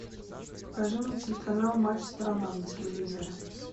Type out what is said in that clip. покажи мне телеканал матч страна на телевизоре